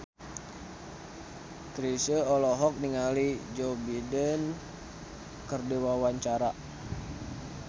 Chrisye olohok ningali Joe Biden keur diwawancara